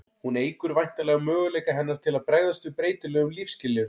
hún eykur væntanlega möguleika hennar til að bregðast við breytilegum lífsskilyrðum